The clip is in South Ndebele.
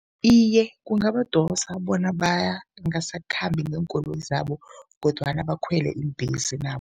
Iye, kungabadosa bona bangasakhambi ngeenkoloyi zabo kodwana bakhwele iimbhesi nabo.